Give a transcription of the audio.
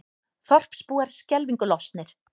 Þorpsbúar skelfingu lostnir